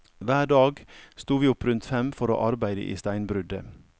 Hver dag sto vi opp rundt fem for å arbeide i steinbruddet.